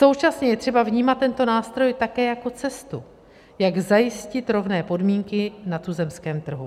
Současně je třeba vnímat tento nástroj také jako cestu, jak zajistit rovné podmínky na tuzemském trhu.